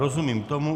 Rozumím tomu.